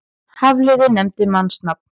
Hafliði nefndi mannsnafn.